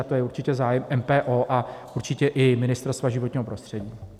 A to je určitě zájem MPO a určitě i Ministerstva životního prostředí.